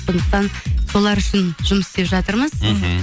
сондықтан солар үшін жұмыс істеп жатырмыз мхм